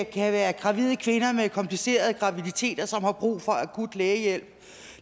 kan være gravide kvinder med komplicerede graviditeter som har brug for akut lægehjælp